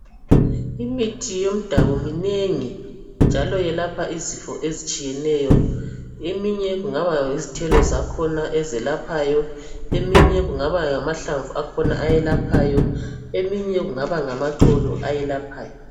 Imithi yomdabu minengi njalo yelapha izifo ezitshiyeneyo. Eminye kungaba yizithelo zakhona ezelaphayo, eminye kungaba ngamahlamvu, eminye kungabe kungamaxolo ayelaphayo.